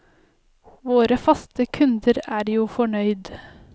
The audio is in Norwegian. Våre faste kunder er jo fornøyd.